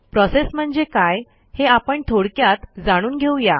process म्हणजे काय हे आपण थोडक्यात जाणून घेऊ या